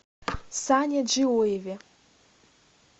сане джиоеве